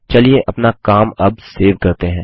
चलिए अपना काम अब सेव करते हैं